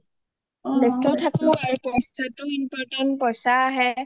বেষ্ঠ থাকো আৰু পইচাটো important পইচা আহে